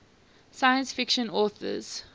science fiction authors